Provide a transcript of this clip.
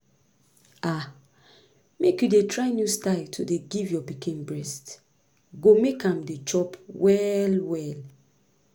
ah make you dey try new style to dey give your pikin breast go make am dey chop well well